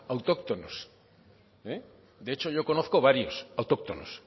autóctonos de hecho yo conozco varios autóctonos